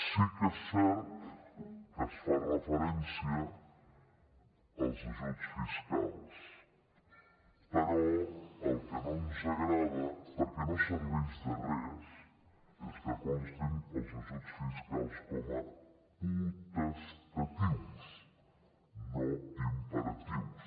sí que és cert que es fa referència als ajuts fiscals però el que no ens agrada perquè no serveix de res és que constin els ajuts fiscals com a potestatius no imperatius